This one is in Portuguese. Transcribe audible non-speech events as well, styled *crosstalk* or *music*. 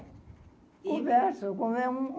Converso. *unintelligible*